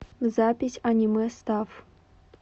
запись анимэстаф